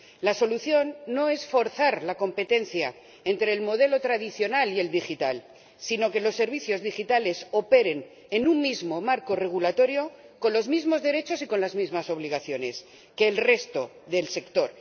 La solución no es forzar la competencia entre el modelo tradicional y el digital, sino que los servicios digitales operen en un mismo marco regulatorio con los mismos derechos y con las mismas obligaciones que el resto del sector.